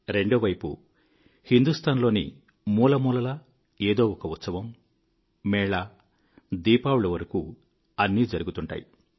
రెండో వైపు హిందూస్తాన్ లోని మూలమూలలా ఏదోఒక ఉత్సవం మేళా దీపావళి వరకూఅన్నీ జరుగుతుంటాయి